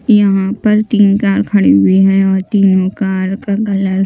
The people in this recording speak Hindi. यहां पर तीन कार खड़ी हुई है और तीनों कार का कलर --